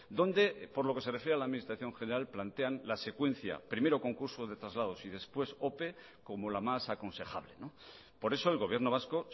donde por lo que se refiere a la administración general plantean la secuencia primero concurso de traslados y después ope como la más aconsejable por eso el gobierno vasco